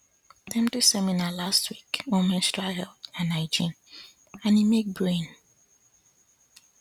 dem do seminar last week on menstrual health and hygiene and e make brain